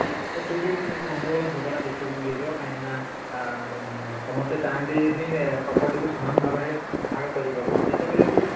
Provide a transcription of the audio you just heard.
ତ ସେଠି କିଛି ଗଣ୍ଡ ଗୋଳ କି ଝଗଡା ଦେଖିବାକୁ ମିଳିଜିବ କାହିଁକି ନା ଆଁ ସମସ୍ତେ ଚାହାନ୍ତି ନି property କୁ ସମାନ ଭାବରେ ଭାଗ କରିବାକୁ ଯେତେବେଳେ କି